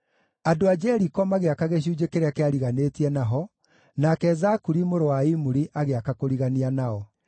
Andũ a Jeriko magĩaka gĩcunjĩ kĩrĩa kĩariganĩtie na ho, nake Zakuri mũrũ wa Imuri agĩaka kũrigania nao.